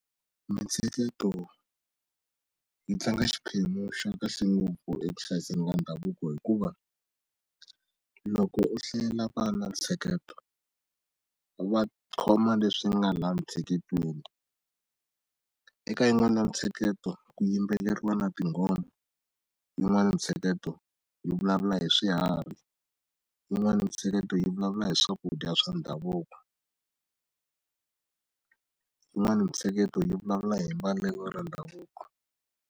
Mitsheketo yi tlanga xiphemu xa kahle ngopfu eku hlayiseni ka ndhavuko hikuva loko u hlayela vana ntsheketo va khoma leswi nga la ntsheketweni eka yin'wani ya mitsheketo ku yimbeleriwa na tinghoma yin'wana ntsheketo yi vulavula hi swiharhi yin'wana mitsheketo yi vulavula hi swakudya swa ndhavuko yin'wani mitsheketo yi vulavula hi mbalelo ra ndhavuko.